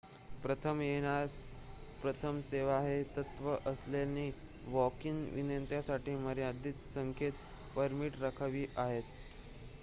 प्रथम येणाऱ्यास प्रथम सेवा हे तत्त्व असल्याने वॉक-इन विनंत्यांसाठी मर्यादित संख्येत परमिट राखीव आहेत